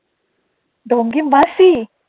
মাসি